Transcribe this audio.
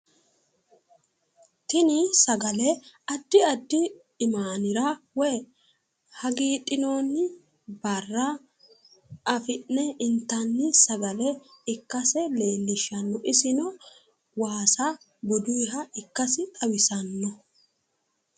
Tini sagale addi addi imaanira woyi hagiidhinoonni barra afi'ne intanni sagale ikkase leellishshanno isino waasa bunuyiiha ikkasi xawisanno